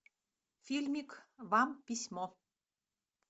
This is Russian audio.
фильмик вам письмо